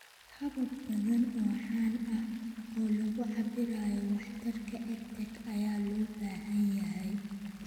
Habab badan oo caan ah oo lagu cabbirayo waxtarka EdTech ayaa loo baahan yahay.